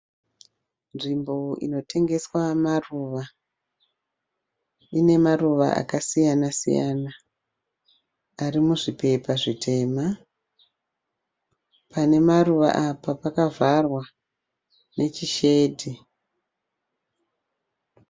Nzvimbo inotengeswa maruva. Ine maruva akasiyana siyana ari muzvipepa zvitema .Pane maruva apa pakavharwa nechishedhi.